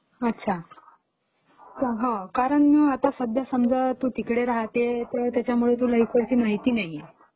अच्छा. हो कारण आता सध्या तू समजा तिकडे राहते त त्याच्यामुळे तुला इकडची माहिती नाहीये.